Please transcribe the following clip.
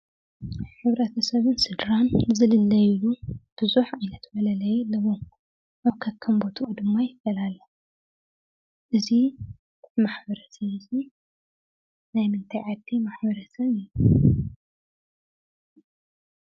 ሕብረተሰብን ስድራን ዝልለይሉ ብዙሕ ዓይነት መለለዪ ኣለዎም፡፡ ከከም ቦትኡ ድማ ይፈላለ፡፡ እዚ ማሕበረሰብ እዚ ናይ ምንታይ ዓዲ ማሕበረሰብ እዩ ?